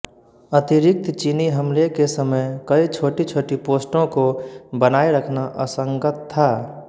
अतिरिक्त चीनी हमले के समय कई छोटीछोटी पोस्टों को बनाए रखना असंगत था